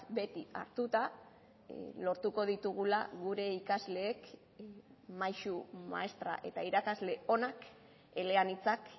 beti hartuta lortuko ditugula gure ikasleek maisu maistra eta irakasle onak eleanitzak